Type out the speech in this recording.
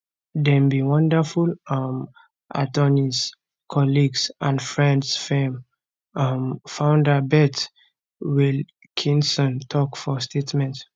dem be wonderful um attorneys colleagues and friends firm um founder beth wilkinson tok for statement